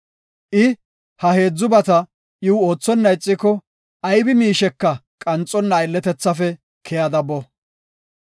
I ha heedzubata iw oothonna ixiko, aybi miisheka qanxonna aylletethaafe keyada boo.”